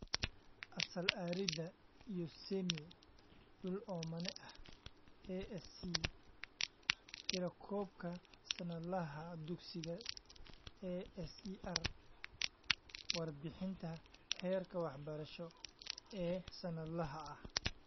ASAL Arid iyo Semi - Dhul oomane ah ASC Tirakoobka Sannadlaha Dugsiga ASER Warbixinta Heerka Waxbarasho ee Sannadlaha ah